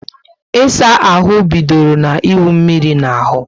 Ịsa ahụ bidoro na iwu mmírí na ahú